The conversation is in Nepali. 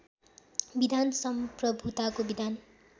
विधान सम्प्रभूताको विधान